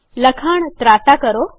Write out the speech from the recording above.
લખાણ ત્રાંસા કરો